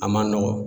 A man nɔgɔn